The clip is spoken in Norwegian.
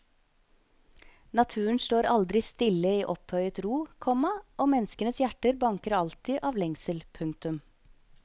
Naturen står aldristille i opphøyet ro, komma og menneskenes hjerter banker alltid avlengsel. punktum